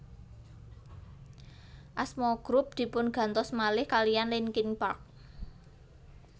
Asma grup dipun gantos malih kaliyan Linkin Park